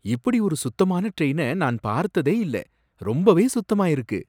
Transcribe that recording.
இப்படி ஒரு சுத்தமான டிரைன நான் பார்த்ததே இல்ல, ரொம்பவே சுத்தமா இருக்கு.